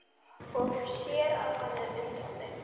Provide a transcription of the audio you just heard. Og hún sér að hann er undrandi.